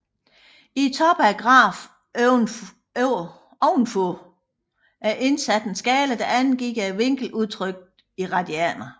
I toppen af grafen ovenfor er indsat en skala der angiver vinklen udtrykt i radianer